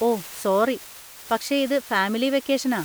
ഓ sorry, പക്ഷെ ഇത് family വെക്കേഷനാ.